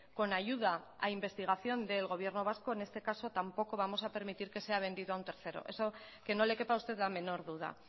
con ayuda a investigación del gobierno vasco en este caso tampoco vamos a permitir que sea vendido a un tercero eso que no le quepa a usted la menor duda